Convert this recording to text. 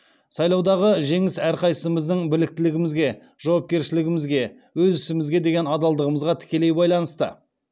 сайлаудағы жеңіс әрқайсымыздың біліктілігімізге жауапкершілігімізге өз ісімізге деген адалдығымызға тікелей байланысты